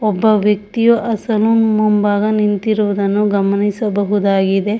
ಒಬ್ಬ ವ್ಯಕ್ತಿಯು ಆ ಸಲೂನ್ ಮುಂಬಾಗ ನಿಂತಿರುವುದನ್ನು ಗಮನಿಸಬಹುದಾಗಿದೆ.